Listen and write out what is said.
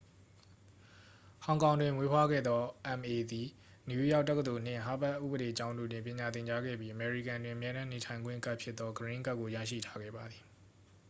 "ဟောင်ကောင်တွင်မွေးဖွားခဲ့သော အမ်အေ သည် နယူးယောက်တက္ကသိုလ်နှင့် ဟားဗက်ဥပဒေကျောင်းတို့တွင် ပညာသင်ကြားခဲ့ပြီး၊ အမေရိကန်တွင် အမြဲတမ်းနေထိုင်ခွင့်ကဒ်ဖြစ်သော "ဂရင်းကဒ်" ကို ရရှိထားခဲ့ပါသည်။